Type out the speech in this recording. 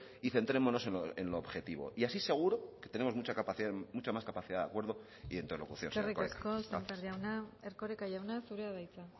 y centrémonos en lo objetivo y así seguro que tenemos mucha más capacidad de acuerdo e interlocución señor erkoreka eskerrik asko sémper jauna erkoreka jauna zurea da hitza